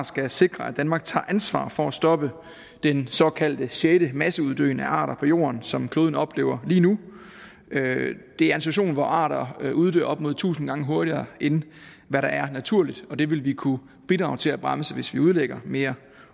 skal sikre at danmark tager ansvar for at stoppe den såkaldte sjette masseuddøen af arter på jorden som kloden oplever lige nu det er en situation hvor arter uddør op mod tusind gange hurtigere end hvad der er naturligt og det vil vi kunne bidrage til at bremse hvis vi udlægger mere